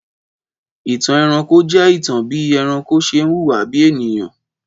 Ìtàn ẹranko je ìtàn bí ẹranko ṣe ń hùwà bí ènìyàn.